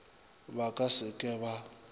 ba ka se ke ba